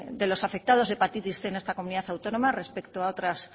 de los afectados de hepatitis cien en esta comunidad autónoma respecto a otras